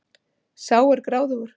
Sá er gráðugur!